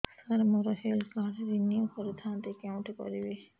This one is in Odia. ସାର ମୋର ହେଲ୍ଥ କାର୍ଡ ରିନିଓ କରିଥାନ୍ତି କେଉଁଠି କରିବି